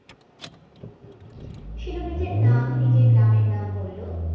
শিলু নিজের নাম নিজের গ্রামের নাম বললো